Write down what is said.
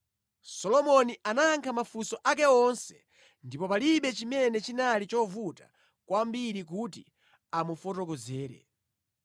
Solomoni anayankha mafunso ake onse ndipo panalibe kanthu kalikonse kovuta kwa iye komwe sanathe kufotokozera mfumu yayikaziyo.